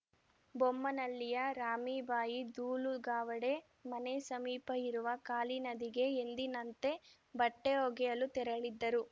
ಬೊಮ್ಮನಳ್ಳಿಯ ರಾಮೀಬಾಯಿ ದೂಳು ಗಾವಡೆ ಮನೆ ಸಮೀಪ ಇರುವ ಕಾಳಿ ನದಿಗೆ ಎಂದಿನಂತೆ ಬಟ್ಟೆಒಗೆಯಲು ತೆರಳಿದ್ದರು